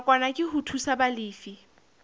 nakwana ke ho thusa balefi